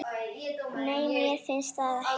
Nei, mér finnst það ekki.